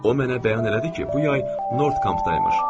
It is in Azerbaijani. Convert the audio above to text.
O mənə bəyan elədi ki, bu yay North Camp-daymış.